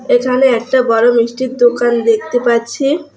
এখানে একটা বড়ো মিষ্টির দোকান দেখতে পাচ্ছি।